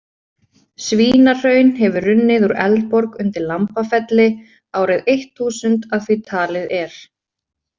Svínahraun hefur runnið úr Eldborg undir Lambafelli, árið eitt þúsund að því talið er.